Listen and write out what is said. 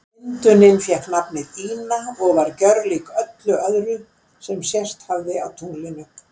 Myndunin fékk nafnið Ina og var gerólík öllu öðru sem sést hafði á tunglinu.